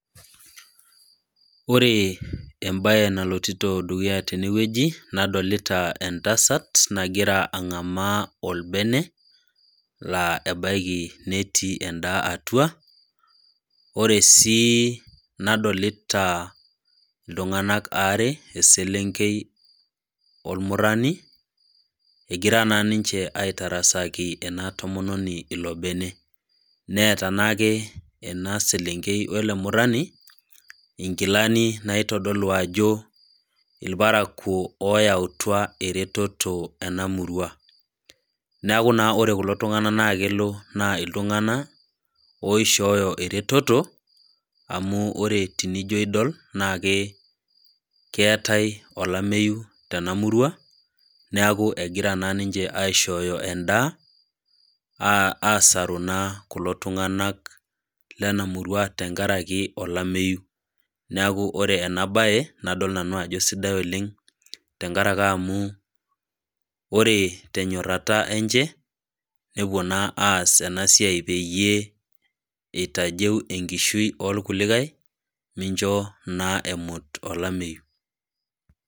Ore embae nalotito dukuya tenewueji nadolita entasat nagira ang'amaa olbene naa ebaiki netii endaa atua, ore sii nadolita iltung'ana aare , eselenkei olmurani, egira naa ninche aitarasaki ena tomononi ilo bene. Neata naa ake ena selenkei wele murani inkilani naitodolu ajo ilparakuo oyautwa iretoto ena murua. Neaku naa ore kulo tung'ana naa kelo naa iltung'ana oishooyo eretoto amu ore tinijo idol naa keatai olameyu tena murua, neaku egira naa ninche aishooyo endaa aasaru naa kulo tung'ana lena murua tenkaraki olameyu, neaku ore ena baye nadol nanu ajo sidai oleng' tenkaraki amu ore tenyorata enye, nepuo naa aas ena siai peyie eitajeu enkishui oo lkulikai mincho naa emut olameyu.